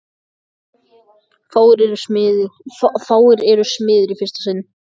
Fáir eru smiðir í fyrsta sinn.